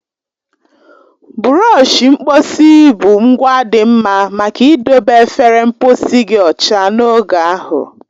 Bụrọshi mkposi bụ ngwa dị mma maka idobe efere mposi gị ọcha n'oge ahụ.